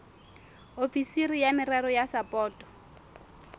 ofisiri ya merero ya sapoto